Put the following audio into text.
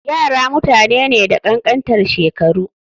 Yara mutane ne da kankantan shekaru.